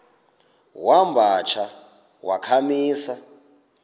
wamba tsha wakhamisa